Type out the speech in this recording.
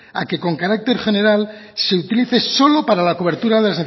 a que con carácter se utilice solo para la cobertura de